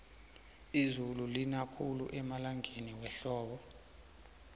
izulu lina khulu emalangeni wehlobo